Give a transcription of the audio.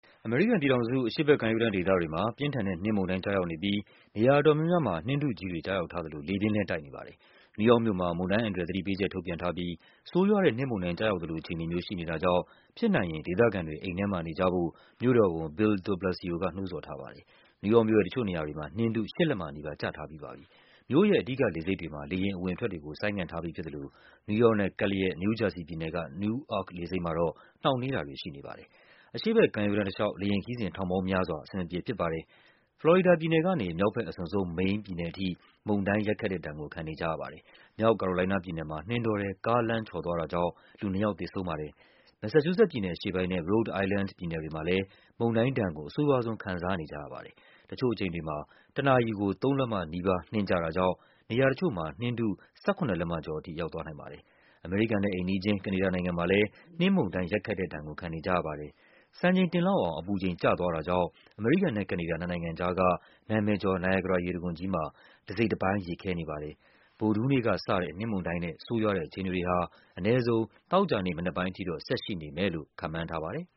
အမေရိကန်ပြည်ထောင်စု အရှေ့ဘက်ကမ်းရိုးတန်းဒေသတွေမှာ ပြင်းထန်တဲ့ နှင်းမုန်တိုင်း ကျရာက်နေပြီး နေရာအတော်များများ မှာ နှင်းထုကြီးတွေ ကျရောက်ထားသလို လေပြင်းလဲတိုက်ခတ်နေပါတယ်။ နယူးယောက်မြို့မှာ မုန်တိုင်းအန္တရာယ်သတိပေးချက် ထုတ်ပြန်ထားပြီး ဆိုးရွားတဲ့ နှင်းမုန်တိုင်းကျရောက်သလို အခြေအနေမျိုး ရှိနေတာကြောင့် ဖြစ်နိုင်ရင် ဒေသခံတွေ အိမ်ထဲမှာနေကြဖို့ မြို့တော်ဝန် Bill de Blasio က နှိုးဆော်ထားပါတယ်။ နယူးယောက်မြို့ရဲ့ တချို့နေရာတွေမှာ နှင်းထု ၈ လက္မနီးပါး ကျထားပြီးပါပြီ။ မြို့ရဲ့ အဓိကလေဆိပ်တွေမှာ လေယာဉ်အဝင် အထွက်တွေကို ဆိုင်းငံ့ထားပြီးဖြစ်သလို နယူးယောက်နဲ့ကပ်လျက် နယူးဂျာစီပြည်နယ်က Newark လေဆိပ်မှာတော့ နှောင့်နှေး တာတွေရှိနေပါတယ်။ အရှေ့ဘက်ကမ်းရိုးတန်းတလျှောက် လေယာဉ်ခရီးစဉ် ထောင်ပေါင်းများစွာ အဆင်မပြေဖြစ်သွားပါတယ်။ ဖလော်ရီဒါပြည်နယ်ကနေ မြောက်ဘက်အစွန်ဆုံး မိန်းပြည်နယ်အထိ မုန်တိုင်းရိုက်ခတ်တဲ့ဒဏ်ကို ခံနေကြရပါတယ်။ မြောက်ကာရိုလိုင်းနားပြည်နယ်မှာ နှင်းတောထဲ ကား လမ်းချော်သွားတာကြောင့် လူနှစ်ယောက် သေဆုံးပါတယ်။ မက်ဆာချူး ဆက်ပြည်နယ် အရှေ့ပိုင်းနဲ့ Rhode Island ပြည်နယ်တွေမှာလဲ မုန်တိုင်းဒဏ်ကို အဆိုးရွားဆုံး ခံစားကြရပါတယ်။ တချို့အချိန် တွေမှာ တနာရီကို ၃ လက်မနီးပါး နှင်းကျတာကြောင့် နေရာတချို့မှာ နှင်းထု ၁၇ လက္မကျော်ထိ ရောက်သွားနိုင်ပါတယ်။ အမေရိကန်နဲ့အိမ်နီးချင်း ကနေဒါနိုင်ငံမှာလဲ နှင်းမုန်တိုင်းရိုက်ခတ်တဲ့ဒဏ်ကို ခံနေကြရပါတယ်။ စံချိန်တင်လောက်အောင် အပူ ချိန် ကျသွားတာကြောင့် အမေရိကန်နဲ့ကနေဒါ နှစ်နိုင်ငံကြားက နာမည်ကျော် နိုင်ရာဂရာရေတံခွန်ကြီးမှာ တစိတ်တပိုင်း ရေခဲနေ ပါတယ်။ ဗုဒ္ဓဟူးနေ့ကစတဲ့ နှင်းမုန်တိုင်းနဲ့ ဆိုးရွားတဲ့အခြေအနေတွေဟာ အနည်းဆုံး သောကြာနေ့မနက်ပိုင်းထိတော့ ဆက်ရှိနေ မယ်လို့ ခန့်မှန်းထားပါတယ်